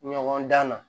Ɲɔgɔn dan na